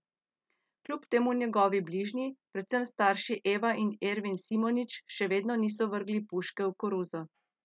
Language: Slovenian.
Kljub temu njegovi bližnji, predvsem starši Eva in Ervin Simonič, še vedno niso vrgli puške v koruzo.